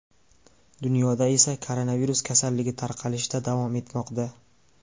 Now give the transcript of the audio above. Dunyoda esa koronavirus kasalligi tarqalishda davom etmoqda.